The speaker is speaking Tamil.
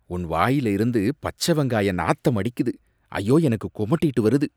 உன் வாயில இருந்து பச்ச வெங்காய நாத்தம் அடிக்குது, ஐயோ எனக்குக் குமட்டிகிட்டு வருது